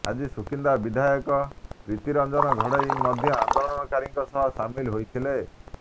ଆଜି ସୁକିନ୍ଦା ବିଧାୟକ ପ୍ରୀତିରଞ୍ଜନ ଘଡେଇ ମଧ୍ୟ ଆନ୍ଦୋଳନକାରୀଙ୍କ ସହ ସାମିଲ ହୋଇଥିଲେ